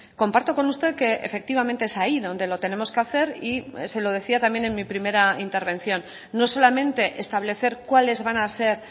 comparto con usted que efectivamente es ahí donde lo tenemos que hacer y se lo decía también en mi primera intervención no solamente establecer cuáles van a ser